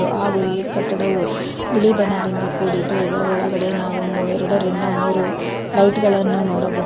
ಹಾಗೂ ಈ ಕಟ್ಟಡವು ಬಿಳಿ ಬಣ್ಣದಿಂದ ಕೂಡಿದ್ದು ಇದರ ಒಳಗಡೆ ನಾವು ಎರಡರಿಂದ ಮೂರು ಲೈಟ್ ಗಳನ್ನು ನೋಡಬಹುದು.